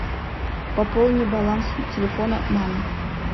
пополни баланс телефона мамы